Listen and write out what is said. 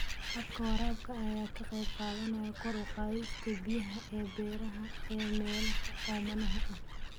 Habka waraabka ayaa ka qayb qaadanaya kor u qaadista biyaha ee beeraha ee meelaha oomanaha ah.